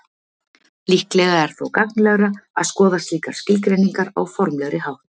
Líklega er þó gagnlegra að skoða slíkar skilgreiningar á formlegri hátt.